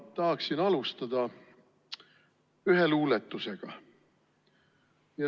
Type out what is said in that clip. Ma tahaksin alustada ühe luuletusega.